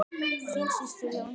Þín systir Jóna Dísa.